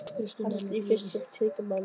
Þetta snýr fyrst og fremst að tryggingamálum.